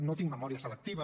no tinc memòria selectiva